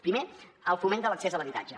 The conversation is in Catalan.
primer el foment de l’accés a l’habitatge